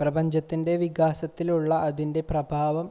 പ്രപഞ്ചത്തിൻ്റെ വികാസത്തിലുള്ള അതിൻ്റെ പ്രഭാവം